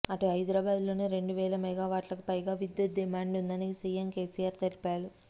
అటు హైదరాబాద్లోనే రెండు వేల మెగావాట్లకుపైగా విద్యుత్ డిమాండ్ ఉందని సీఎం కేసీఆర్ తెలిపారు